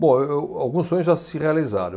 Bom, eu, alguns sonhos já se realizaram.